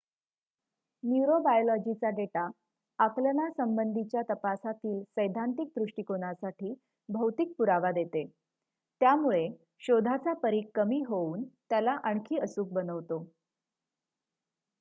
न्यूरोबायोलॉजीचा data आकलनासंबंधीच्या तपासातील सैद्धांतिक दृष्टिकोनासाठी भौतिक पुरावा देते त्यामुळे शोधाचा परीघ कमी होऊन त्याला आणखी अचूक बनवतो